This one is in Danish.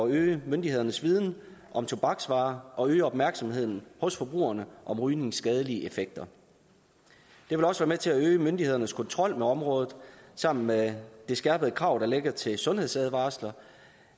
øge myndighedernes viden om tobaksvarer og øge opmærksomheden hos forbrugerne om rygningens skadelige effekter det vil også være med til at øge myndighedernes kontrol med området og sammen med det skærpede krav der ligger til sundhedsadvarsler